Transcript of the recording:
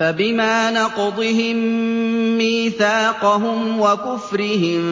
فَبِمَا نَقْضِهِم مِّيثَاقَهُمْ وَكُفْرِهِم